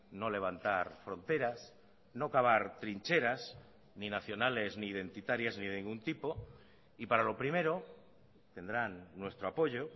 no levantar fronteras no cavar trincheras ni nacionales ni identitarias ni de ningún tipo y para lo primero tendrán nuestro apoyo